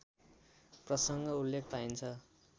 प्रसङ्ग उल्लेख पाइन्छ